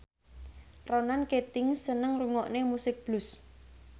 Ronan Keating seneng ngrungokne musik blues